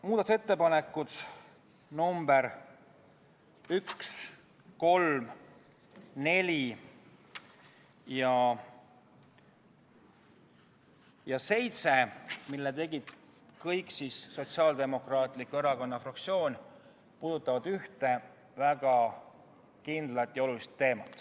Muudatusettepanekud nr 1, 3, 4 ja 7, mille tegi Sotsiaaldemokraatliku Erakonna fraktsioon, puudutavad ühte väga kindlat ja olulist teemat.